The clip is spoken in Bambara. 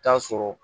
Taa sɔrɔ